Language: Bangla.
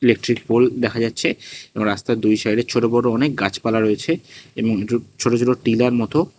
ইলেকট্রিক পোল দেখা যাচ্ছে এবং রাস্তার দুই সাইডে ছোট বড় অনেক গাছপালা রয়েছে এবং একটু ছোট ছোট টিলার মতো--